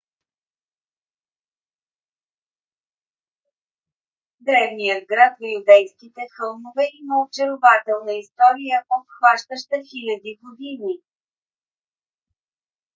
древният град в юдейските хълмове има очарователна история обхващаща хиляди години